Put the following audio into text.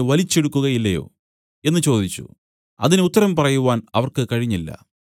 വലിച്ചെടുക്കുകയില്ലയോ എന്നു ചോദിച്ചു അതിന് ഉത്തരം പറയുവാൻ അവർക്ക് കഴിഞ്ഞില്ല